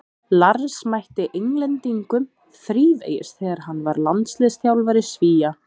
Lars mætti Englendingum þrívegis þegar hann var landsliðsþjálfari Svía.